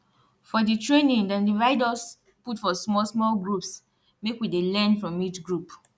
for di training dem divide us put for small small groups make we dey learn from each group